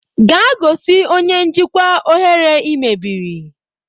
Gaa gosi onye njikwa oghere ị mebiri!